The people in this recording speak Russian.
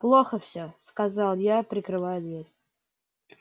плохо всё сказал я прикрывая дверь